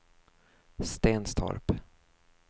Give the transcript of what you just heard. Stenstorp